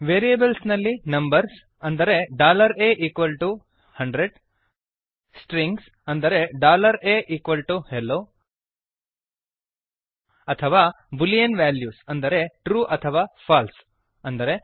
variables ನಲ್ಲಿ numbers ಅಂದರೆ a100 strings ಅಂದರೆ ahello ಅಥವಾ ಬುಲಿಯನ್ ವ್ಯಾಲ್ಯೂಸ್ ಅಂದರೆ ಟ್ರೂ ಅಥವಾ ಫಾಲ್ಸೆ